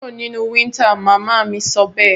Kúro nínú winter! mama mí sọbẹ́ẹ̀